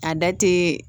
A da te